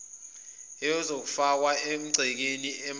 esiyofakwa emagcekeni amadela